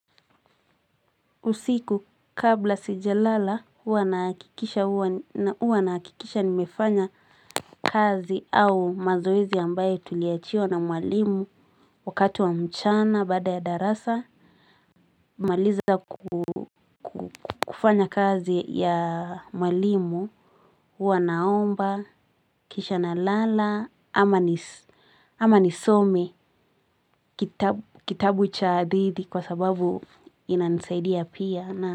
Usiku kabla sijalala huwa naakikisha nimefanya kazi au mazoezi ambaye tuliachiwa na mwalimu wakati wa mchana baada ya darasa. Maliza kufanya kazi ya mwalimu huwa naomba kisha nalala ama nisome kitabu cha adhidi kwa sababu inanisaidia pia na.